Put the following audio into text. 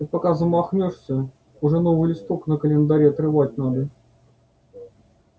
ты пока замахнёшься уже новый листок на календаре отрывать надо